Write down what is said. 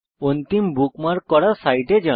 অন্তিম বুকমার্ক করা সাইটে যান